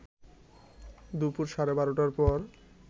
দুপুর সাড়ে ১২টার পর